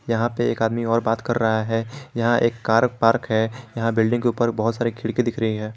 यहां पे एक आदमी और बात कर रहा है यहां एक कार पार्क है यहां बिल्डिंग के ऊपर बहुत सारे खिड़की दिख रही है।